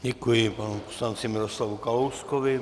Děkuji panu poslanci Miroslavu Kalouskovi.